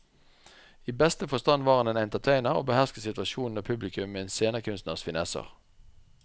I beste forstand var han entertainer og behersket situasjonen og publikum med en scenekunstners finesser.